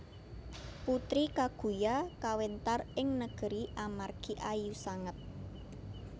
Putri Kaguya kawéntar ing negeri amargi ayu sanget